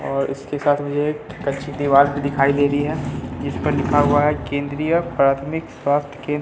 और इसके साथ मुझे एक कच्ची दीवार भी दिखाई दे रही है जिस पर लिखा हुआ है केंद्रीय प्राथमिक स्वास्थ्य केंद्र।